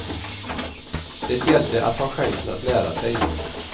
Det gällde att ta chansen att lära sig.